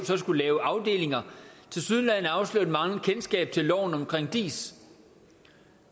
så skulle lave afdelinger tilsyneladende afslører et manglende kendskab til loven om diis